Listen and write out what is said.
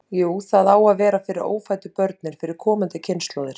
Jú, það á að vera fyrir ófæddu börnin, fyrir komandi kynslóðir.